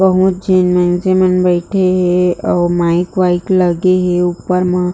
बहुत झीन मइन्से मन बईथे हे अऊ माइक वाइक लगे हे ऊपर म--